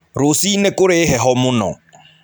Rũcinĩ kũrĩ na heho mũno.